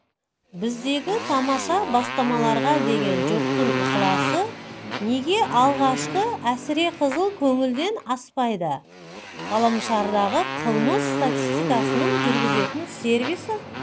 біздегі тамаша бастамаларға деген жұрттың ықыласы неге алғашқы әсіреқызыл көңілден аспайды ғаламшардағы қылмыс статистикасын жүргізетін сервисі